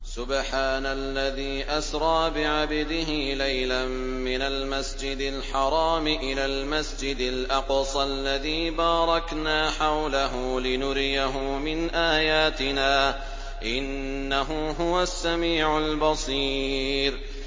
سُبْحَانَ الَّذِي أَسْرَىٰ بِعَبْدِهِ لَيْلًا مِّنَ الْمَسْجِدِ الْحَرَامِ إِلَى الْمَسْجِدِ الْأَقْصَى الَّذِي بَارَكْنَا حَوْلَهُ لِنُرِيَهُ مِنْ آيَاتِنَا ۚ إِنَّهُ هُوَ السَّمِيعُ الْبَصِيرُ